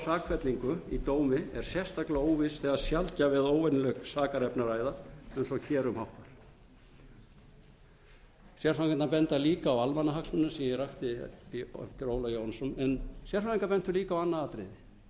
sakfellingu í dómi er sérstaklega óviss þegar um sjaldgæf eða óvenjuleg sakarefni er að ræða eins og hér um háttar sérfræðingarnir benda líka á almannahagsmunina sem ég rakti eftir ólaf jóhannesson en sérfræðingar bentu líka á annað atriði þessa